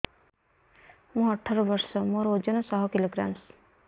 ମୁଁ ଅଠର ବର୍ଷ ମୋର ଓଜନ ଶହ କିଲୋଗ୍ରାମସ